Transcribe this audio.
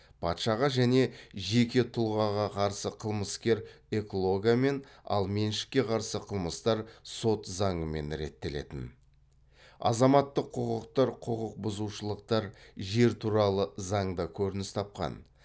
патшаға және жеке тұлғаға қарсы қылмыстар эклогамен ал меншікке қарсы қылмыстар сот заңымен реттелетін азаматтық құқықтық құқықбұзушылықтар жер туралы заңда көрініс тапқан